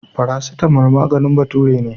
Farasitamol maganin bature ne.